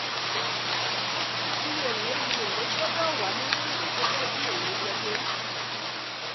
iye èlé iye èlé gbọdọ̀ wà nínú ìwé gẹ́gẹ́ bí èlé wọlé.